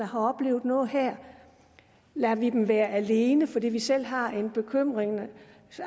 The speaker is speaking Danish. har oplevet noget her lader vi dem være alene fordi vi selv har en bekymring eller